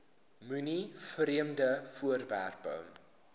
moenie vreemde voorwerpe